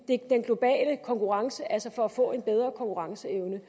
den globale konkurrence altså får en bedre konkurrenceevne